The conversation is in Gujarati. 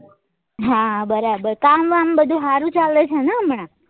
હા બરાબર કામ વામ બધું હારું ચાલે છે ને હમણાં?